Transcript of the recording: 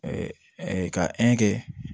ka kɛ